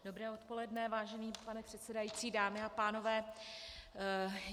Dobré odpoledne, vážený pane předsedající, dámy a pánové.